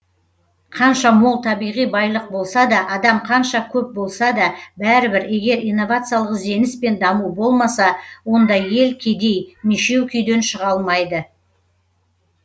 қанша мол табиғи байлық болса да адам қанша көп болса да бәрібір егер инновациялық ізденіс пен даму болмаса ондай ел кедей мешеу күйден шыға алмайды